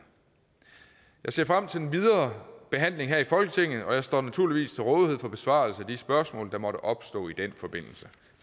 jeg ser frem til den videre behandling her i folketinget og jeg står naturligvis til rådighed for besvarelse af de spørgsmål der måtte opstå i den forbindelse